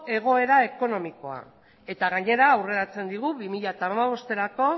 egoera ekonomikoa eta gainera aurreratzen digu bi mila hamabosterako